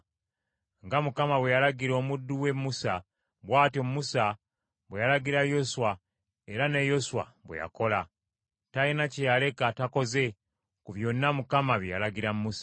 Nga Mukama bwe yalagira omuddu we Musa, bw’atyo Musa bwe yalagira Yoswa era ne Yoswa bwe yakola; talina kye yaleka takoze ku byonna Mukama bye yalagira Musa.